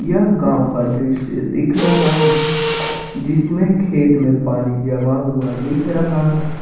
यह गांव का दृश्य दिख रहा है जिसमें खेत में पानी जमा हुआ दिख रहा है।